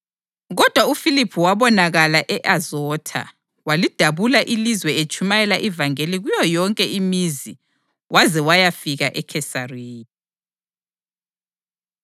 Kodwa uFiliphu wabonakala e-Azotha, walidabula ilizwe etshumayela ivangeli kuyo yonke imizi waze wayafika eKhesariya.